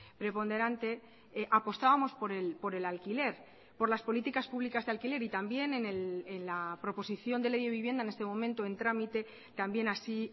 preponderante apostábamos por el alquiler por las políticas públicas de alquiler y también en la proposición de ley de vivienda en este momento en trámite también así